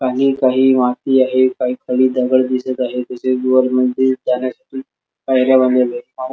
पाणी काही माती आहे काही खाली दगड दिसत आहे तसेच वर मंदिर जाण्यासाठी पायऱ्या बनवल्यात --